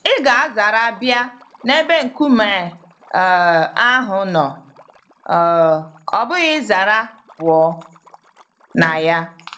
Ị ga-azara bịa n'ebe nkume um ahụ nọ um, ọbụghị ịzara pụọ na ya.